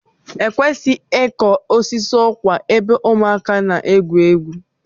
Ekwesịghị ịkụ osisi ụkwa ebe ụmụaka na-egwu egwu.